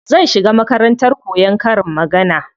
Zan shiga makarantar koyan karin magana.